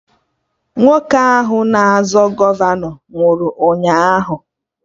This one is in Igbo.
Nwoke ahụ na-azọ gọvanọ nwụrụ ụnyaahụ